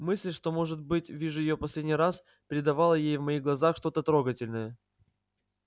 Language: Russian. мысль что может быть вижу её в последний раз придавала ей в моих глазах что-то трогательное